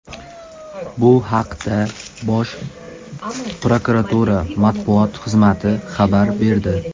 Bu haqda Bosh prokuratura matbuot xizmati xabar berdi.